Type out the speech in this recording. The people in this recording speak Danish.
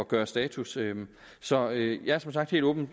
gøre status så jeg er som sagt helt åben